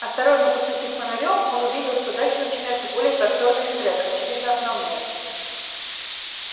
осторожно посветив фонарём он увидел что дальше начинается более просторный штрек очевидно основной